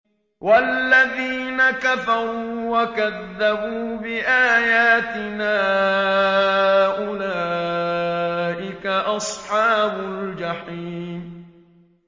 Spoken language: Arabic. وَالَّذِينَ كَفَرُوا وَكَذَّبُوا بِآيَاتِنَا أُولَٰئِكَ أَصْحَابُ الْجَحِيمِ